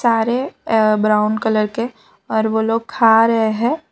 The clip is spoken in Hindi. सारे अ ब्राउन कलर के और वो लोग खा रहे है।